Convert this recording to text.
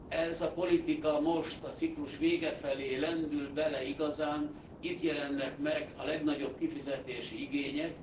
Ez a politika most, a ciklus vége felé lendül bele igazán, itt jelennek meg a legnagyobb kifizetési igények.